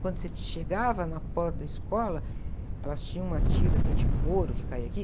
Quando você chegava na porta da escola, elas tinham uma tira, assim, de couro que caía aqui.